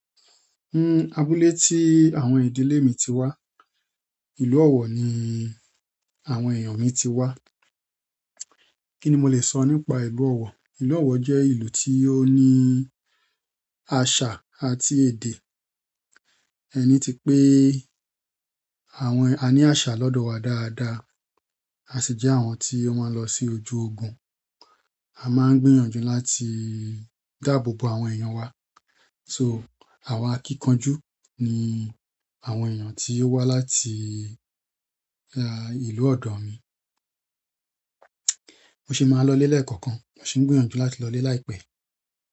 Hmm abúlé tí àwọn ìdílé mi ti wá, ìlú ọ̀wọ̀ ni àwọn èèyàn mi ti wá. Kí ni mo lè sọ nípa ìlú ọ̀wọ̀? Ìlú ọ̀wọ̀ jẹ́ ìlú tí ó ní àṣà àti èdè. Ẹni tí pé àwọn-- a ní àṣà lọ́dọ̀ wa dáadáa, a sì jẹ́ àwọn tí ó máa ń lọ sí ojú ogun. A máa ń gbìyànjú láti dáàbò bo àwọn èèyàn wa, so àwọn akíkanjú ni àwọn èèyàn tí ó wá láti ìlú ọ̀dọ̀ mi. Mo sì máa ń lọ lé lẹ́ẹ̀kọ̀kan, mo sì ń gbìyànjú láti lọ lé láìpẹ́.